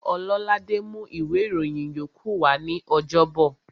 Ọlọ́ládé mú ìwé ìròyìn yókù wa ní ọjọ́bọ̀